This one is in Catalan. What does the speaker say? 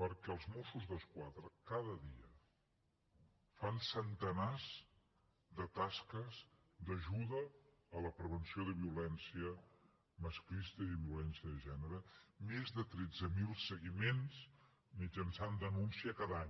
perquè els mossos d’esquadra cada dia fan centenars de tasques d’ajuda a la prevenció de violència masclista i de violència de gènere més de tretze mil seguiments mitjançant denúncia cada any